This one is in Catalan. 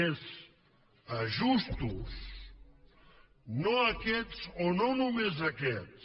és ajustos no aquests o no només aquests